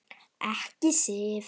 Ekki Sif.